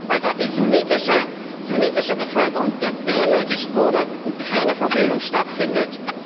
Weil dort die sunnitische Bevölkerung gedemütigt wurde und keine Versöhnung stattfindet.